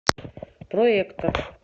проектор